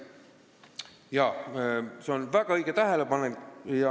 Jaa, see on väga õige tähelepanek.